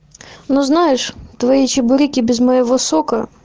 ну знаешь твои чебуреки без моего сока